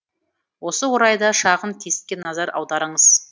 осы орайда шағын тестке назар аударыңыз